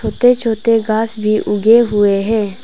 छोटे छोटे घास भी उगे हुए है।